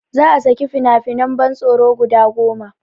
Za a saki fina finan ban tsoro guda goma